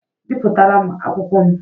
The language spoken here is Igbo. Bipụtara m akwụkwọ m!